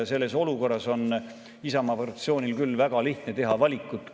Selles olukorras on Isamaa fraktsioonil küll väga lihtne valikut teha.